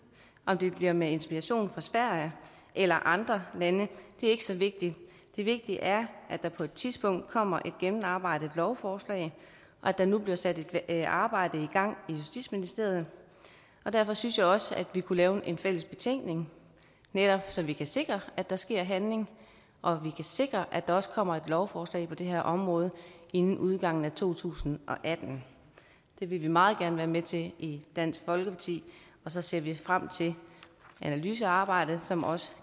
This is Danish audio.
om det bliver med inspiration fra sverige eller andre lande er ikke så vigtigt det vigtige er at der på et tidspunkt kommer et gennemarbejdet lovforslag og at der nu bliver sat et arbejde i gang i justitsministeriet og derfor synes jeg også at vi kunne lave en fælles betænkning netop så vi kan sikre at der sker handling og vi kan sikre at der også kommer et lovforslag på det her område inden udgangen af to tusind og atten det vil vi meget gerne være med til i dansk folkeparti og så ser vi frem til analysearbejdet som også